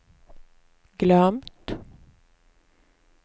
glömt